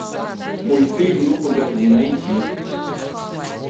мультфильм ну погоди найти